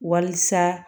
Walisa